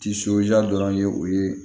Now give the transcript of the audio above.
dɔrɔn ye o ye